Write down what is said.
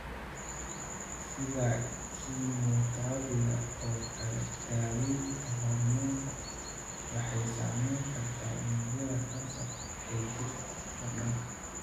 Sida kiimoterabiga oo kale, daawaynta hoormoonka waxay saameyn kartaa unugyada kansarka ee jirka oo dhan.